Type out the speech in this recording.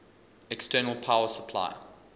external power supply